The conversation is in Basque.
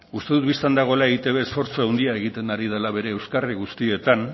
uste dut bistan dagoela eitb esfortzu handia egiten ari dela bere euskarri guztietan